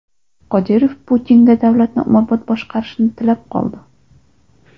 Qodirov Putinga davlatni umrbod boshqarishni tilab qoldi.